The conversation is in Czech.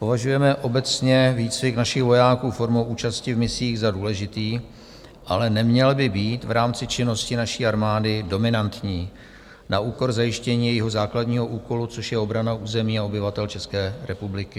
Považujeme obecně výcvik našich vojáků formou účasti v misích za důležitý, ale neměl by být v rámci činnosti naší armády dominantní, na úkor zajištění jejího základního úkolu, což je obrana území a obyvatel České republiky.